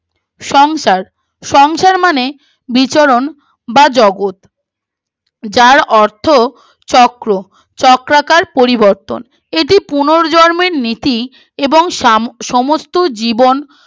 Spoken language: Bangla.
সংসার সংসার মানে বিচরণ বা জগৎ যার অর্থ চক্র চক্রাকার পরিবর্তন এটি পুনর্জর্মের নীতি এবং সাম সমস্ত জীবন